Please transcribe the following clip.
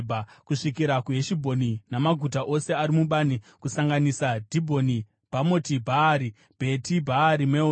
kusvikira kuHeshibhoni namaguta ose ari mubani, kusanganisa Dhibhoni, Bhamoti Bhaari, Bheti Bhaari Meoni,